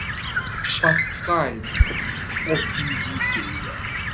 паскаль офигителен